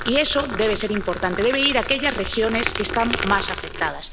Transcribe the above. Y eso debe ser importante debe ir a aquellas regiones que están más afectadas.